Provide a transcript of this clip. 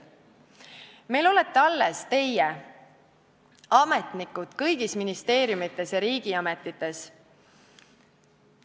Meil olete alles teie, ametnikud kõigis ministeeriumites ja riigiametites.